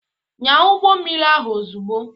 Nyaa ụgbọ mmiri ahụ ozugbo.